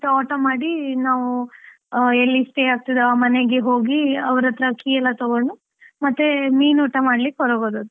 Auto ಮಾಡಿ ನಾವು ಎಲ್ಲಿ stay ಆಗ್ತಿದ್ವೋ ಆ ಮನೆಗೆ ಹೋಗ, ಅವ್ರತ್ರ key ಎಲ್ಲ ತೊಗೊಂಡು ಮತ್ತೆ ಮೀನೂಟ ಮಾಡ್ಲಿಕ್ಕೆ ಹೊರಗೆ ಹೋದದ್ದು.